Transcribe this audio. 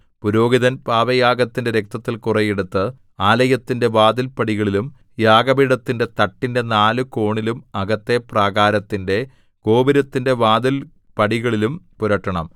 പുരോഹിതൻ പാപയാഗത്തിന്റെ രക്തത്തിൽ കുറെ എടുത്ത് ആലയത്തിന്റെ വാതിൽപ്പടികളിലും യാഗപീഠത്തിന്റെ തട്ടിന്റെ നാല് കോണിലും അകത്തെ പ്രാകാരത്തിന്റെ ഗോപുരത്തിന്റെ വാതിൽപ്പടികളിലും പുരട്ടണം